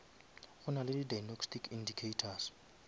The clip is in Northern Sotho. go nale di diagnostic indicators